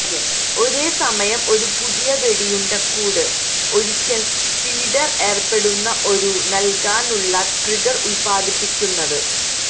ഒരേ സമയം ഒരു പുതിയ വെടിയുണ്ടക്കൂട് ഒരിക്കൽ ഫീഡർ ഏർപ്പെടുന്ന ഒരു നൽകാനുള്ള ട്രിഗർ ഉത്പാദിപ്പിക്കുന്നത്